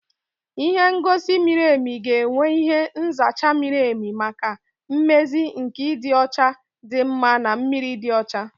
Ihe ngosi mmiri ga-enwe ihe nzacha mmiri maka mmezi nke ịdị ọcha dị mma na mmiri dị ọcha